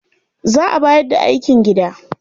Za a bayar da aikin gida.